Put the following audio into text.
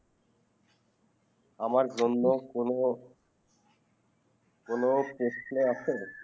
আমার জন্য কোনো কোনো প্রশ্ন আছে